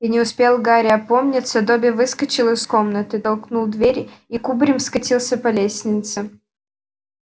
и не успел гарри опомниться добби выскочил из комнаты толкнул дверь и кубарем скатился по лестнице